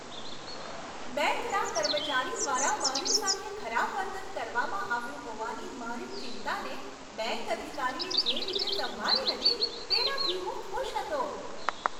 બેંકના કર્મચારી દ્વારા મારી સાથે ખરાબ વર્તન કરવામાં આવ્યું હોવાની મારી ચિંતાને, બેંક અધિકારીએ જે રીતે સંભાળી હતી, તેનાથી હું ખુશ હતો.